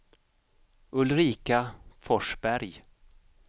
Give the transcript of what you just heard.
Ulrika Forsberg